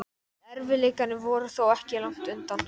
En erfiðleikarnir voru þó ekki langt undan.